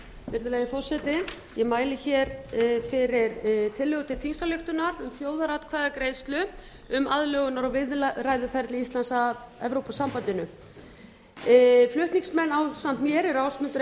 virðulegi forseti ég mæli fyrir tillögu til þingsályktunar um þjóðaratkvæðagreiðslu um aðlögunar og viðræðuferli íslands og evrópusambandsins flutningsmenn ásamt mér eru ásmundur